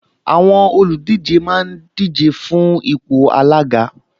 Àwọn olùdíje máa ń díje fún ipò alága